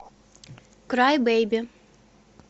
край бейби